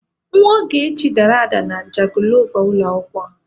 Nwa Ogechi dara ada na jangilova ụlọ akwụkwọ ha.